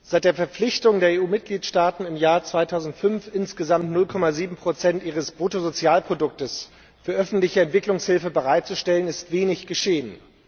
Herr Präsident! Seit der Verpflichtung der EU Mitgliedstaaten im Jahr 2005, insgesamt 0,7 ihres Bruttosozialproduktes für öffentliche Entwicklungshilfe bereitzustellen, ist wenig geschehen.